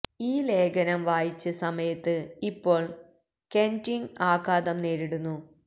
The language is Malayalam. ഈ ലേഖനം വായിച്ച് സമയത്ത് ഇപ്പോൾ കെര്നിന്ഗ് ആഘാതം നേരിടുന്നു